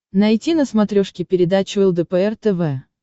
найти на смотрешке передачу лдпр тв